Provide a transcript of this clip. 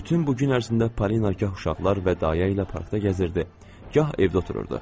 Bütün bu gün ərzində Parina gah uşaqlar və dayə ilə parkda gəzirdi, gah evdə otururdu.